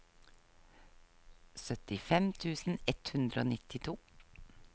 syttifem tusen ett hundre og nittito